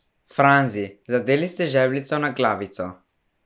Franzi, zadeli ste žebljico na glavico!